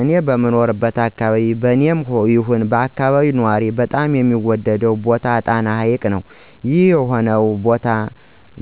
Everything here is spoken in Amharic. እኔ በምኖርበት አከባቢ በኔም ይሁን በአከባቢው ነዋሪዎች በጣም የሚወደደው ቦታ ጣና ሀይቅ ነው። ይህም የሆነው ቦታው